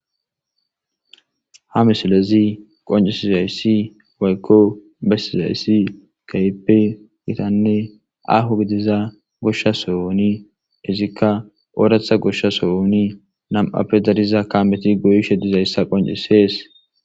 Ha missilezi qonc'isizaysi woyko besizaysi kehipe gitane aho gidiza gosha sohoni izika oratha gosha sohoni nam'appe dariza kameti goyishe dizaysa qonc'ises.